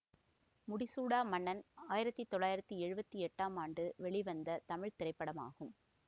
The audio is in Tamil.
முடிசூடா மன்னன் ஆயிரத்தி தொள்ளாயிரத்தி எழுவத்தி எட்டாம் ஆண்டு வெளிவந்த தமிழ் திரைப்படமாகும்